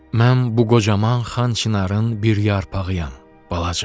Mən bu qocaman xan çinarın bir yarpağıyam, balacan.